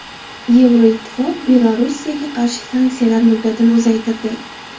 Yevroittifoq Belorussiyaga qarshi sanksiyalar muddatini uzaytirdi.